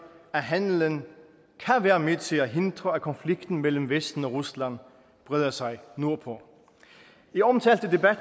at handelen kan være med til at hindre at konflikten mellem vesten og rusland breder sig nordpå i omtalte debat